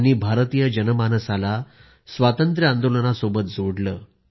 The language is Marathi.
त्यांनी भारतीय जनमानसाला स्वतंत्रता आंदोलनाच्या सोबत जोडले